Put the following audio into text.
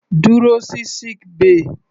Dúró sí sick bay.